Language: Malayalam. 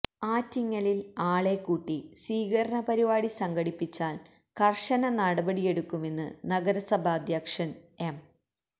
ആറ്റിങ്ങലില് ആളെക്കൂട്ടി സ്വീകരണ പരിപാടി സംഘടിപ്പിച്ചാല് കര്ശന നടപടിയെടുക്കുമെന്ന് നഗരസഭാധ്യക്ഷന് എം